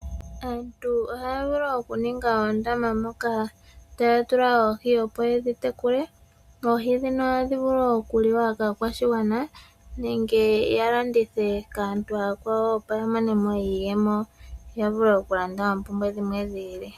Aantu ohaya vulu okuninga oondama moka taya tula oohi opo yedhi tekula. Oohi ndhino ohadhi vulu okuliwa kaakwashigwana nenge yalandithe kaantu aakwawo yamonemo iiyemo , yavule okulanda oompumbwe dhi ili.